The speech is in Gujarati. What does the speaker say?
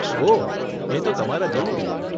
ઓહ, એ તો તમારા જેવું જ.